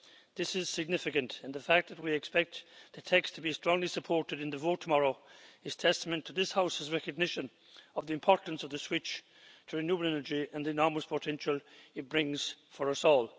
This is significant, and the fact that we expect the text to be strongly supported in the vote tomorrow is testament to this House's recognition of the importance of the switch to renewable energy and the enormous potential it brings for us all.